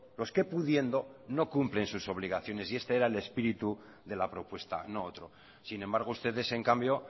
los que pudiendo no cumplen sus obligaciones y este era el espíritu de la propuesta no otro sin embargo ustedes en cambio